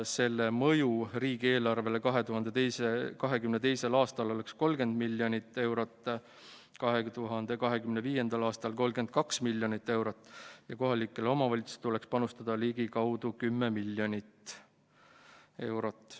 Selle mõju riigieelarvele 2022. aastal oleks 30 miljonit eurot, 2025. aastal 32 miljonit eurot ja kohalikel omavalitsustel tuleks panustada ligikaudu 10 miljonit eurot.